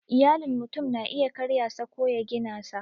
Iyalin mutum na iya karya sa ko ya gina sa